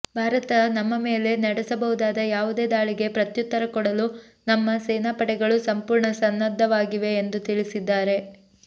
ಭಾರತ ನಮ್ಮ ಮೇಲೆ ನಡೆಸಬಹುದಾದ ಯಾವುದೇ ದಾಳಿಗೆ ಪ್ರತ್ಯುತ್ತರ ಕೊಡಲು ನಮ್ಮ ಸೇನಾಪಡೆಗಳು ಸಂಪೂರ್ಣ ಸನ್ನದ್ಧವಾಗಿವೆ ಎಂದು ತಿಳಿಸಿದ್ದಾರೆ